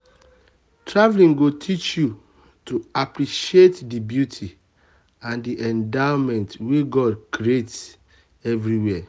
traveling go teach you to appreciate the beauty and the endowments wey god create everywhere.